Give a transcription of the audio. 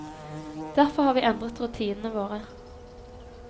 Derfor har vi endret rutinene våre.